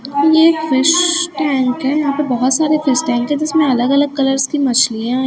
ये एक fish tank हैं यहां पे बहोत सारे फिश टैंक है जिसमें अलग अलग कलर्स की मछलियां--